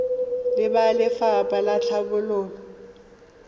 le ba lefapha la tlhabololo